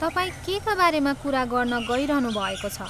तपाईँ केका बारेमा कुरा गर्न गइरहनु भएको छ?